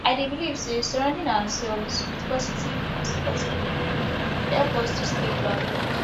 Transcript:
i dey believe say surrounding ourselves with positive and supportive people dey help us to stay grounded